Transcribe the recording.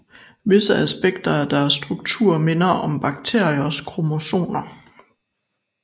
Visse aspekter af deres struktur minder om bakteriers kromosomer